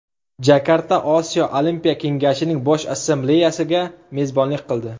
Jakarta Osiyo olimpiya kengashining Bosh Assambleyasiga mezbonlik qildi .